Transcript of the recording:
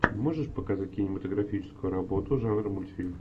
можешь показать кинематографическую работу жанра мультфильм